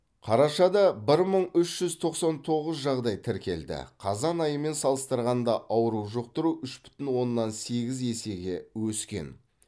қарашада бір мың үш жүз тоқсан тоғыз жағдай тіркелді қазан айымен салыстырғанда ауру жұқтыру үш бүтін оннан сегіз есеге өскен